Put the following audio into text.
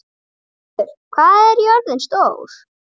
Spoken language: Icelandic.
Þjóðhildur, hvað er jörðin stór?